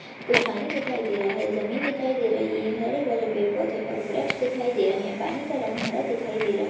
कुच्छ पानी दिखाई दे रहै जमीन दिखाई दे रही है हरे भरे पेड़ पौधे और वृक्ष दिखाई दे रहै पानी का रंग हरा दिखाई दे रहा है।